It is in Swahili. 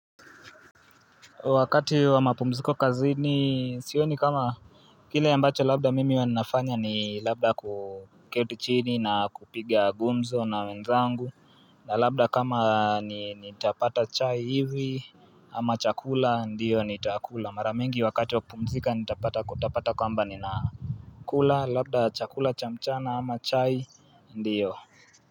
Wakati wa mapumziko kazini sioni kama kile ambacho labda mimi huwa ninafanya ni labda kuketi chini na kupiga gumzo na wenzangu na labda kama nitapata chai hivi ama chakula ndiyo nitakula, mara mingi wakati wa kupumzika nitapata kwaamba ninakula labda chakula cha mchana ama chai ndiyo.